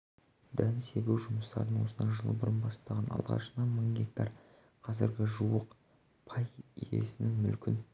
дән себу жұмыстарын осыдан жыл бұрын бастаған алғашында мың гектар қазір жуық пай иесінің мүлкін